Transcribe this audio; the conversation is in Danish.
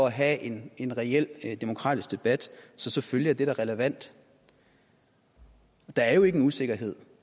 at have en en reel demokratisk debat så selvfølgelig er det da relevant der er jo ikke nogen usikkerhed